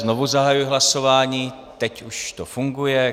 Znovu zahajuji hlasování, teď už to funguje.